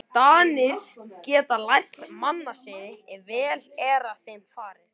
Danir geta lært mannasiði, ef vel er að þeim farið.